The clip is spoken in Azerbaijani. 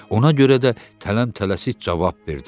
Ona görə də tələm-tələsik cavab verdilər.